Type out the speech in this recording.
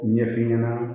Ɲɛf'i ɲɛna